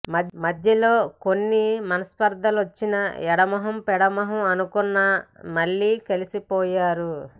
మధ్యలో కొన్ని మనస్పర్థలొచ్చి ఎడమొహం పెడమొహం అనుకున్నా మళ్లీ కలిసిపోయారు